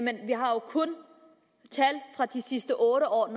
tal fra de sidste otte år og